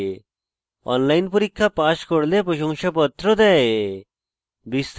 online পরীক্ষা pass করলে প্রশংসাপত্র দেয়